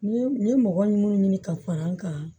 Ni n ye mɔgɔ minnu ɲini ka fara n kan